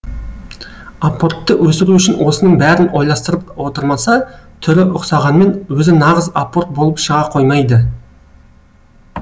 апортты өсіру үшін осының бәрін ойластырып отырмаса түрі ұқсағанмен өзі нағыз апорт болып шыға қоймайды